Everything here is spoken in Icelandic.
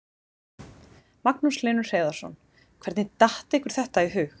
Magnús Hlynur Hreiðarsson: Hvernig datt ykkur þetta í hug?